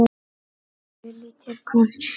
Lillý: Til hvers?